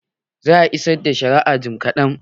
Za a isar da shari'an jim kaɗan.